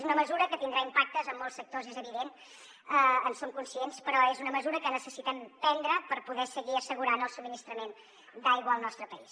és una mesura que tindrà impactes en molts sectors és evident en som conscients però és una mesura que necessitem prendre per poder seguir assegurant el subministrament d’aigua al nostre país